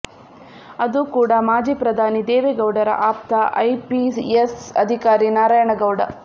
ಅದು ಕೂಡ ಮಾಜಿ ಪ್ರಧಾನಿ ದೇವೇಗೌಡರ ಆಪ್ತ ಐಪಿಎಸ್ ಅಧಿಕಾರಿ ನಾರಾಯಣ ಗೌಡ